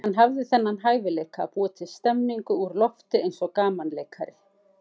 Hann hafði þennan hæfileika að búa til stemmningu úr lofti eins og gamanleikari.